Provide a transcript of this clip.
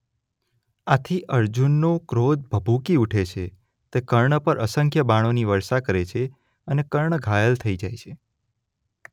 આથી અર્જુનનો ક્રોધ ભભૂકી ઉઠે છે તે કર્ણ પર અસંખ્ય બાણોની વર્ષા કરે છે અને કર્ણ ઘાયલ થઇ જાય છે.